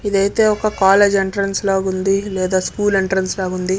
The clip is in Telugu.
ఇది ఐతే ఒక కాలేజీ ఎంట్రిన్స్ లాగా ఉంది. లేదా స్కూల్ ఎంట్రిన్స్ లాగా ఉంది